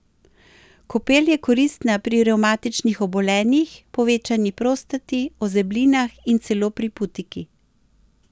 Kopel je koristna pri revmatičnih obolenjih, povečani prostati, ozeblinah in celo pri putiki.